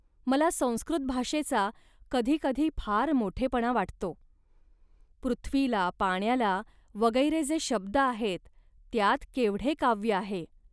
मला संस्कृत भाषेचा कधी कधी फार मोठेपणा वाटतो. पृथ्वीला, पाण्याला वगैरे जे शब्द आहेत, त्यांत केवढे काव्य आहे